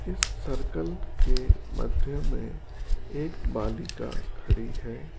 इस सर्कल के मध्य में एक बालिका खड़ी है।